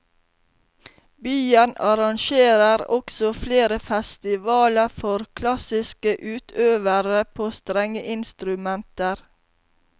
Byen arrangerer også flere festivaler for klassiske utøvere på strengeinstrumenter.